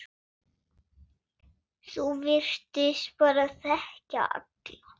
Þú virtist bara þekkja alla.